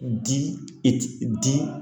Di i ti di